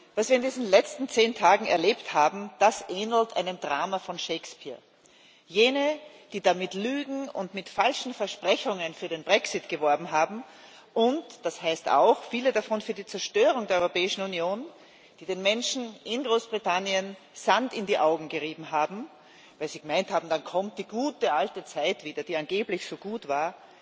Was wir in diesen letzten zehn Tagen erlebt haben, ähnelt einem Drama von Shakespeare. Jene, die da mit Lügen und mit falschen Versprechungen für den Brexit geworben haben und viele davon auch für die Zerstörung der Europäischen Union, die den Menschen in Großbritannien den Sand in die Augen gerieben haben, weil sie gemeint haben, dann kommt die gute, alte Zeit wieder, die angeblich so gut war,